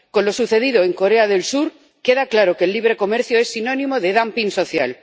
Con lo sucedido en Corea del Sur queda claro que el libre comercio es sinónimo de dumping social.